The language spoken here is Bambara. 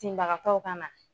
Tintinbagakaw ka na!